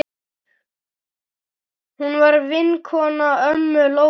Hún var vinkona ömmu Lóu.